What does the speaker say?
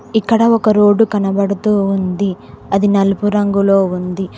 ఇక్కడ ఒక రోడ్డు కనబడుతూ ఉంది అది నలుపు రంగులో వుంది.